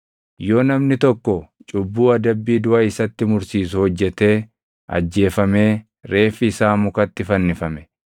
Yoo namni tokko cubbuu adabbii duʼa isatti mursiisu hojjetee ajjeefamee reeffi isaa mukatti fannifame,